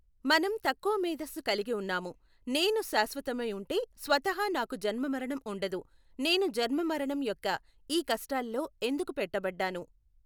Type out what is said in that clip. మనం తక్కువ మేద్దస్సు కలిగి ఉన్నాము. నేను శాశ్వతమైఉంటే స్వతహా నాకు జన్మ మరణం ఉండదు, నేను జన్మ మరణం యొక్క ఈ కష్టాలలో ఎందుకు పెట్టబడ్డాను?